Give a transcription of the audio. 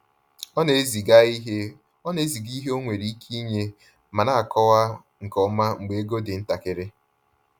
Ọ na-eziga ihe Ọ na-eziga ihe ọ nwere ike inye ma na-akọwa nke ọma mgbe ego dị ntakịrị.